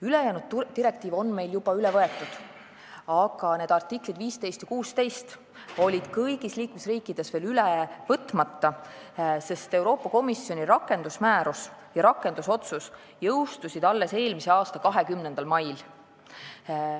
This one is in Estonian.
Ülejäänud direktiiv on meil juba üle võetud, aga artiklid 15 ja 16 on olnud kõigis liikmesriikides veel üle võtmata, sest Euroopa Komisjoni rakendusmäärus ja rakendusotsus jõustusid alles eelmise aasta 20. mail.